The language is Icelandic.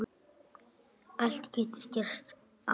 Allt getur gerst, Ellen.